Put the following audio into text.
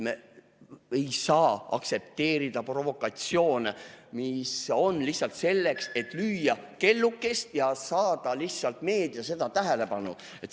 Me ei saa aktsepteerida provokatsioone, mis on lihtsalt selleks, et lüüa kellukest ja saada lihtsalt meedia tähelepanu.